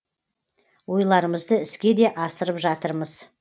ойларымызды іске де асырып жатырмыз